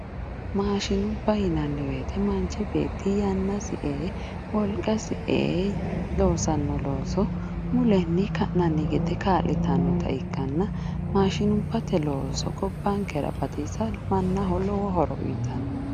Maashinubba yinnanni woyte manchi beetti yannasi e"e wolqasi e"e loossano looso mulenni ka'nanni gede kaa'littanotta ikkanna maashinubbate looso gobbankera batisa mannaho lowo horo uyittano.